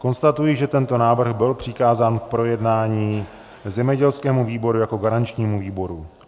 Konstatuji, že tento návrh byl přikázán k projednání zemědělskému výboru jako garančnímu výboru.